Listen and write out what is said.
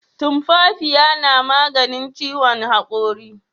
Tumfafiya na maganin ciwon hakuri